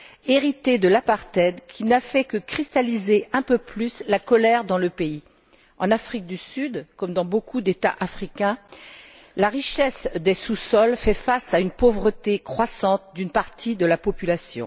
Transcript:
héritée de l'apartheid, qui n'a fait que cristalliser un peu plus la colère dans le pays. En Afrique du Sud, comme dans beaucoup d'États africains, la richesse des sous sols contraste avec la pauvreté croissante d'une partie de la population.